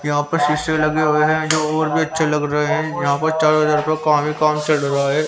यहां पर शीशे लगे हुए हैं और भी अच्छे लग रहे हैं यहां पर चारों तरफ काम ही काम चल रहा है.